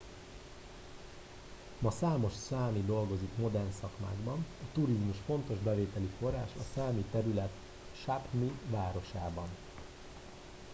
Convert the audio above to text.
ma számos számi dolgozik modern szakmákban a turizmus fontos bevételi forrás a számi terület sápmi városában